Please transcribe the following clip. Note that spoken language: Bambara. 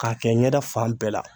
K'a kɛ ɲɛda fan bɛɛ la.